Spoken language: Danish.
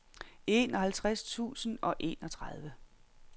enoghalvtreds tusind og enogtredive